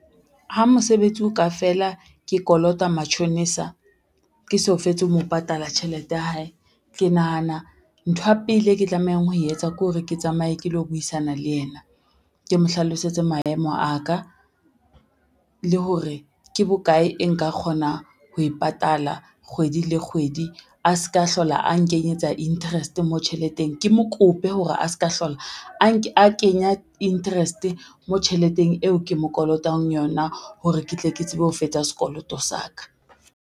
Ha mosebetsi o ka fela ke kolota matjhonisa, ke so fetse ho mo patala tjhelete ya hae, ke nahana ntho ya pele e ke tlamehang ho e etsa ke hore ke tsamaye ke lo buisana le yena, ke mo hlalosetse maemo a ka. Le hore ke bokae e nka kgona ho e patala kgwedi le kgwedi a ska hlola a nkenyetsa interest mo tjheleteng, ke mo kope hore a ska hlola a kenya interest mo tjheleteng eo ke mo kolotang yona hore ke tle ke tsebe ho fetsa sekoloto sa ka.